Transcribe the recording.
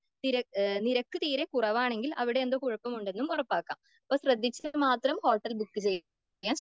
നിരക്ക് തീരെ കുറവാണെങ്കിൽ അവിടെ എന്തോ കുഴപ്പം ഉണ്ടെന്നും ഉറപ്പാക്കാം.അപ്പൊ ശ്രദ്ധിച്ച് മാത്രം ഹോട്ടൽ ബുക്ക് ചെയ്യുക.